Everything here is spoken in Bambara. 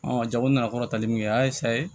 jago nana kɔrɔ tali min kɛ a ye saye